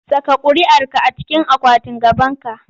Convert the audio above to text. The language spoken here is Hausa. Saka ƙuriarki a cikin akwatin gabanki!